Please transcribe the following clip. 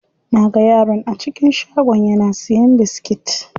Naga yaron a cikin shagon yana siyan biskit.